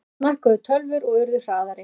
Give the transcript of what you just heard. Enn smækkuðu tölvur og urðu hraðari.